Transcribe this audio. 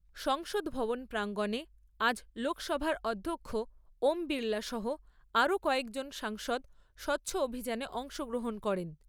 সংসদ ভবন প্রাংগনে আজ লোকসভার অধ্যক্ষ ওম বিরলা সহ আরো কয়েকজন সাংসদ স্বচ্ছ অভিযানে অংশ গ্রহন করেন ।